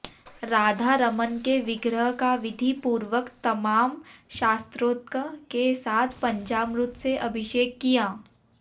राधारमण के विग्रह का विधिपूर्वक तमाम शास्त्रोक्त के साथ पंचामृत से अभिषेक किया